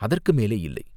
அதற்கு மேலே இல்லை.